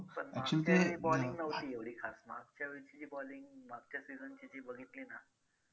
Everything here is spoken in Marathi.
पण मागच्यावेळी bowling नव्हती एवढी खास मागच्या वेळीची जी bowling मागच्या season ची जी बघितली ना